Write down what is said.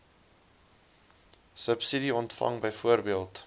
subsidie ontvang byvoorbeeld